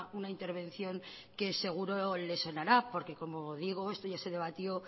una intervención que seguro les sonará porque como digo esto ya se debatió